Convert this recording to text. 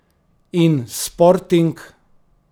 In Sporting?